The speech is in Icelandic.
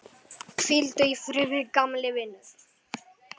Hvíldu í friði, gamli vinur.